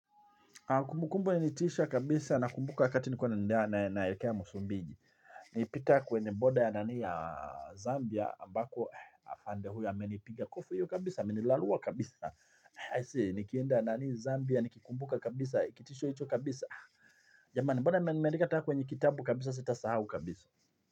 Kumbukumbu ilinitisha kabisa nakumbuka wakati nilikuwa nendea na naelekea msumbini. Nilipita kwenye border ya nani ya Zambia. Ambako afande huyo amenipiga kofi hiyo kabisa. Amenirarua kabisa. Aisee. Nikienda nani Zambia. Nikikumbuka kabisa. Kitisho hicho kabisa. Jamani mbona meni nimeandika hata kwenye kitabu kabisa sitasahau kabisa.